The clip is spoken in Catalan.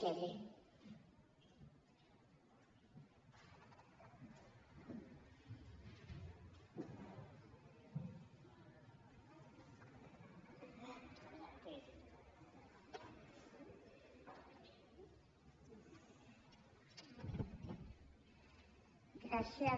gràcies